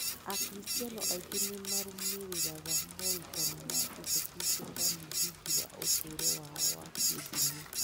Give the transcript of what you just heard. Akristiano aingĩ nĩ marũmĩrĩraga morutani ma Jesũ Kristo ta mũthingi wa ũtũũro wao wa kĩndini.